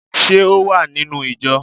Ṣé o wà nínú ìjọ?